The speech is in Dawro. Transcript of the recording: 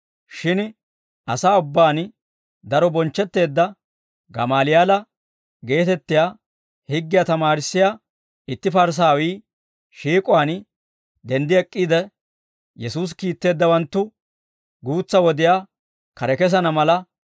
Shin asaa ubbaan daro bonchchetteedda Gamaaliyaala geetettiyaa, higgiyaa tamaarissiyaa itti Parisaawii, shiik'uwaan denddi ek'k'iide, Yesuusi kiitteeddawanttu guutsa wodiyaa kare kesana mala